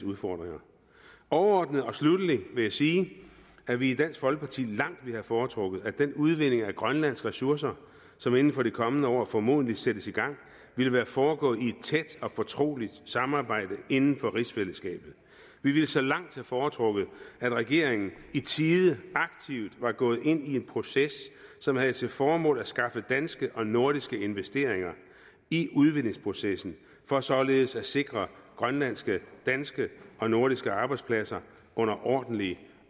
udfordringer overordnet og sluttelig vil jeg sige at vi i dansk folkeparti langt ville have foretrukket at den udvinding af grønlandske ressourcer som inden for det kommende år formodentlig sættes i gang ville have foregået i et tæt og fortroligt samarbejde inden for rigsfællesskabet vi ville så langt have foretrukket at regeringen i tide aktivt var gået ind i en proces som havde til formål at skaffe danske og nordiske investeringer i udvindingsprocessen for således at sikre grønlandske danske og nordiske arbejdspladser under ordentlige